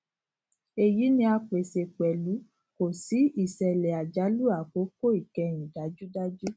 eyi ni a pese pẹlu ko si isele ajalu akoko ikẹhin dajudaju